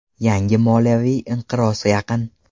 Yangi moliyaviy inqiroz yaqin.